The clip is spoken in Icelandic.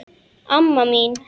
Amma mín